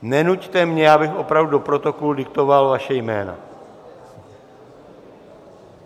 Nenuťte mě, abych opravdu do protokolu diktoval vaše jména...